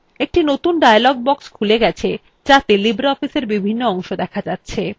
একটি নতুন dialog box খুলে গেছে যাতে libreofficeএর বিভিন্ন অংশ দেখা যাচ্ছে